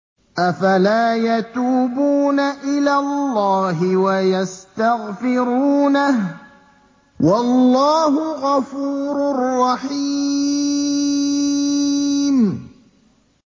أَفَلَا يَتُوبُونَ إِلَى اللَّهِ وَيَسْتَغْفِرُونَهُ ۚ وَاللَّهُ غَفُورٌ رَّحِيمٌ